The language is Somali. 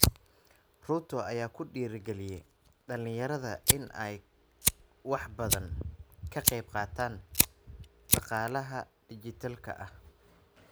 Ruto ayaa ku dhiiri galiyay dhalinyarada in ay wax badan ka qayb qaataan dhaqaalaha dhijitaalka ah.